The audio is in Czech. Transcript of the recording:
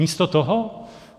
Místo toho?